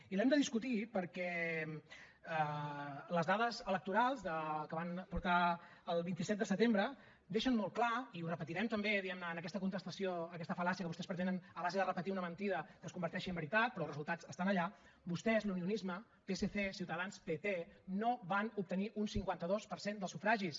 i l’hem de discutir perquè les dades electorals que van portar el vint set de setembre deixen molt clar i ho repetirem també diguem ne en aquesta contestació a aquesta fal·làcia que vostès pretenen a base de repetir una mentida que es converteixi en veritat però els resultats estan allà que vostès l’unionisme psc ciutadans pp no van obtenir un cinquanta dos per cent del sufragis